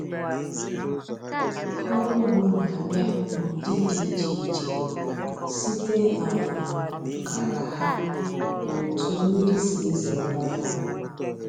Ọrụ ugbo na-abịa n'ụdị dị iche iche, site um k'ala ha na otu mmiri si ezo ebe ahụ